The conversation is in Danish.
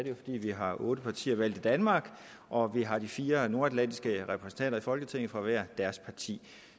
jo fordi vi har otte partier valgt i danmark og vi har de fire nordatlantiske repræsentanter i folketinget fra hver deres parti